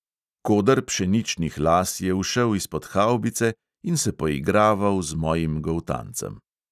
Koder pšeničnih las je ušel izpod havbice in se poigraval z mojim goltancem.